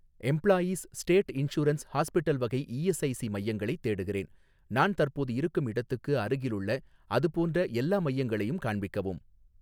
employees state insurance hospital வகை ESIC மையங்களைத் தேடுகிறேன், நான் தற்போது இருக்கும் இடத்துக்கு அருகிலுள்ள அதுபோன்ற எல்லா மையங்களையும் காண்பிக்கவும்